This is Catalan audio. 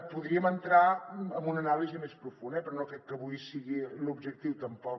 podríem entrar en una anàlisi més profunda però no crec que avui sigui l’objectiu tampoc